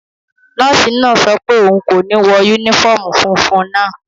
Nọ́ọ̀sì náà sọ pé òun kò ní wọ yúnífọ́ọ̀mù funfun naa